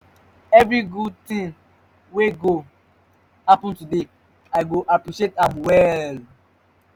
evri gud tin wey go happen today i go appreciate am well.